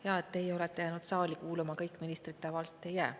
Hea, et teie olete jäänud saali kuulama, kõik ministrid tavaliselt ei jää.